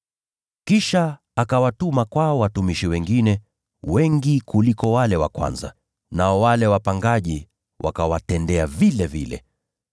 Kisha akawatuma kwao watumishi wengine, wengi kuliko wale wa kwanza, nao wale wapangaji wakawatendea vilevile.